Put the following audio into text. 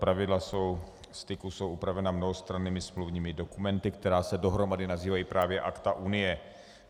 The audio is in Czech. Pravidla styku jsou upravena mnohostrannými smluvními dokumenty, které se dohromady nazývají právě Akta unie.